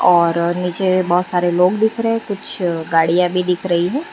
और नीचे बहोत सारे लोग दिख रहे है कुछ गाड़ियां भी दिख रही है।